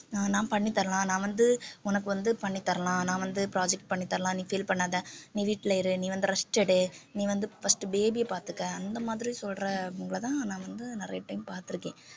நான் பண்ணித் தரலாம் நான் வந்து உனக்கு வந்து பண்ணித் தரலாம் நான் வந்து project பண்ணித் தரலாம் நீ feel பண்ணாத நீ வீட்டில இரு நீ வந்து rest எடு நீ வந்து first baby அ பாத்துக்க அந்த மாதிரி சொல்றவங்களைதான் நான் வந்து நிறைய time பாத்திருக்கேன்